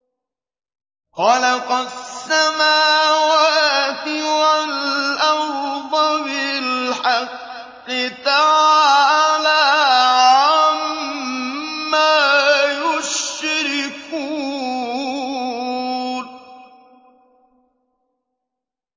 خَلَقَ السَّمَاوَاتِ وَالْأَرْضَ بِالْحَقِّ ۚ تَعَالَىٰ عَمَّا يُشْرِكُونَ